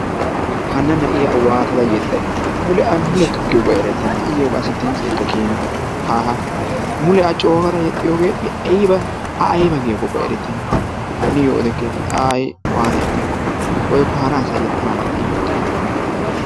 Hanna na'iyaa waattada yeexayi! mule a giyiyoobaykka erettenna. Iyookka qassi dimitseekka kiyyenna. Haha mule a coogada yexxiyoogee ayba a aybaa giyaakokka erettenna. Haniyo odeketti a hay waata yexxiyaakko woykko hara asay yeexxana mala iyoo oditte!